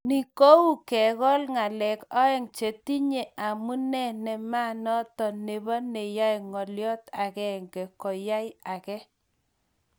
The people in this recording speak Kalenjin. Ni ko uu kengol ngalek aeng chetinye amune nematoo nebo neyoe ngolyot agenge kuyay age